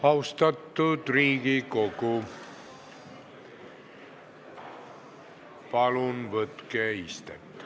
Austatud Riigikogu, palun võtke istet!